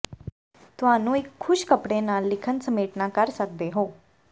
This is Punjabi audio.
ਤੁਹਾਨੂੰ ਇੱਕ ਖੁਸ਼ਕ ਕੱਪੜੇ ਨਾਲ ਲਿਖਣ ਸਮੇਟਣਾ ਕਰ ਸਕਦੇ ਹੋ